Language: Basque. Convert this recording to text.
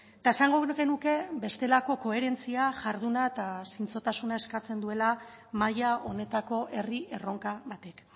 eta esango genuke bestelako koherentzia jarduna eta zintzotasuna eskatzen duela maila honetako herri erronka batek